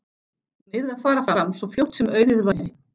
Hún yrði að fara fram svo fljótt sem auðið væri.